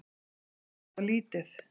Það er alltof lítið.